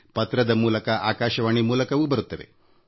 ಆಕಾಶವಾಣಿಯ ಮೂಲಕ ಹಾಗೂ ಪತ್ರದ ಮೂಲಕವೂ ಬರುತ್ತವೆ